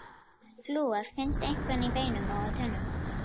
Flúor finnst einkum í beinum og tönnum.